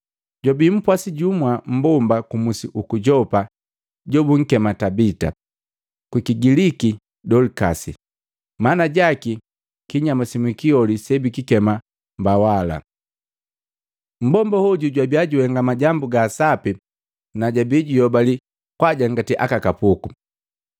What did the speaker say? Jwabi mpwasi jumu mmbomba ku musi uku Yopa jobunkema Tabita. Kukigiliki, “Dolikasi.” Mana jaki, “Kinyama simwiki holi sebikikema mbawala.” Mmbomba hoju jwabia juhenga majambu ga sapi na jabii juyobali kwajangati aka kapuku.